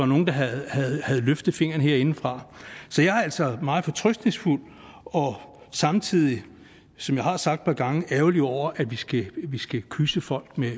nogen der havde løftet fingeren herindefra så jeg er altså meget fortrøstningsfuld og samtidig som jeg har sagt et par gange ærgerlig over at vi skal vi skal kyse folk med